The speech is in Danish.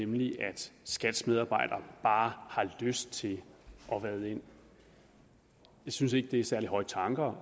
nemlig at skats medarbejdere bare har lyst til at vade ind jeg synes ikke det er særlig høje tanker